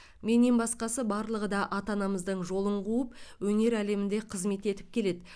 менен басқасы барлығы да ата анамыздың жолын қуып өнер әлемінде қызмет етіп келеді